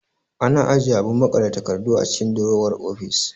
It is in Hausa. Ana ajiye abun maƙale takardu a cikin durowar ofis